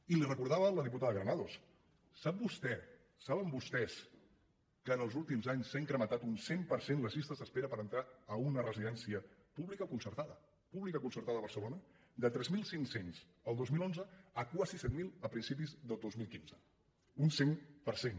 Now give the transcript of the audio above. i li ho recordava la diputada granados sap vostè sa·ben vostès que en els últims anys s’han incrementat un cent per cent les llistes d’espera per entrar a una resi·dència pública o concertada a barcelona de tres mil cinc cents el dos mil onze a quasi set mil a principis del dos mil quinze un cent per cent